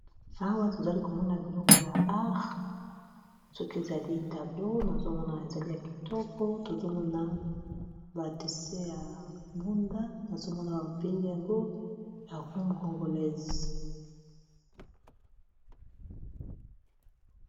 Awa tozali komona biloko ya art soki ezali tableau nazomona ezali ya kitoko tozomona ba dessin ya mbunda nazomona babengi yango ya rumba congolaise